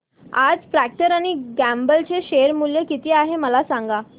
आज Procter and Gamble चे share मूल्य किती आहे मला सांगा